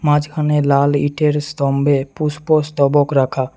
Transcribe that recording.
মাঝখানে লাল ইটের স্তম্ভে পুষ্পস্তবক রাখা।